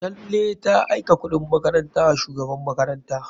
Tanle ta aika kuɗin makaranta wa shugaban makaranta.